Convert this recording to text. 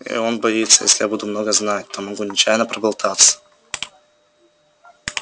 и он боится если я буду много знать то могу нечаянно проболтаться